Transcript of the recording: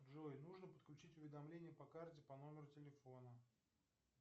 джой нужно подключить уведомление по карте по номеру телефона